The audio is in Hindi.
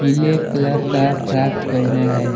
पीले क्लर का फ्रॉक पहिना है।